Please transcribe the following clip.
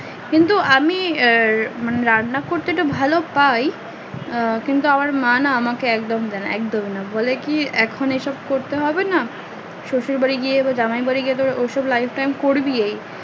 কিন্তু আমি মানে রান্না করতে তো ভালো পাই কিন্তু আমার মা না আমাকে না একদমই দেয় না একদমই না বলে কি এখন এ সব করতে হবে না শশুর বাড়ি গিয়ে বা জামাই বাড়ি গিয়ে ও সব তো life time করবি